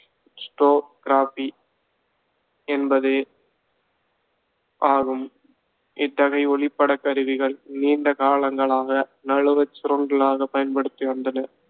என்பது ஆகும். இத்தகைய ஒளிப்படக் கருவிகள் நீண்ட காலங்களாக நழுவச் சுருள்களாக பயன்படுத்தி வந்தன.